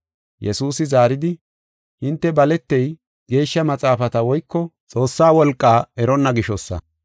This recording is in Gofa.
Yesuusi zaaridi, “Hinte baletey, Geeshsha Maxaafata woyko Xoossaa wolqaa eronna gishosa!